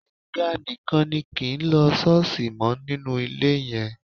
Gbénga nìkan ni kì í lọ ṣọ́ọ̀ṣì mọ́ nínú ilé yẹn